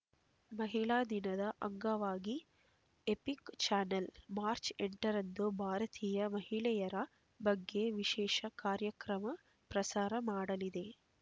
ಮಹಿಳಾ ದಿನದ ಅಂಗವಾಗಿ ಎಪಿಕ್ ಚಾನೆಲ್ ಮಾರ್ಚ್ ಎಂಟರಂದು ಭಾರತೀಯ ಮಹಿಳೆಯರ ಬಗ್ಗೆ ವಿಶೇಷ ಕಾರ್ಯಕ್ರಮ ಪ್ರಸಾರ ಮಾಡಲಿದೆ